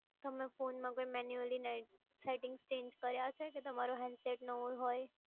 તમે ફોનમાં કોઈ મેન્યુઅલી નેટ સેટિંગ્સ ચેન્જ કર્યા છે કે તમારો handset નવો હોય?